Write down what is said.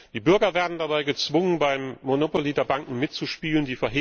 Die Bürger werden dabei gezwungen, beim Monopoly der Banken mitzuspielen.